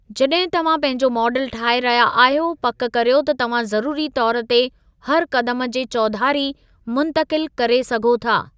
जॾहिं तव्हां पंहिंजो माडल ठाहे रहिया आहियो, पक करियो त तव्हां ज़रूरी तौर ते हर क़दमु जे चौधारी मुंतक़िल करे सघो था।